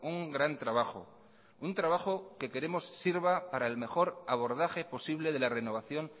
un gran trabajo un trabajo que queremos sirva para el mejor abordaje posible de la renovación